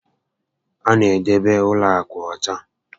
A na edebe ụlọ akụ ọcha